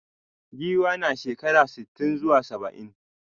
Giwa na shekara sitin zuwa saba'in.